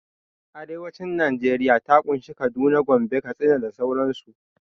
Arewacin najeriya ta ƙunshi Kaduna, Gombe, Katsina da dai sauran su